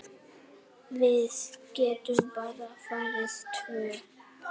Og smellir af.